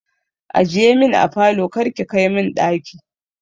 Ajiye min a falo kar ki kai min ɗaki.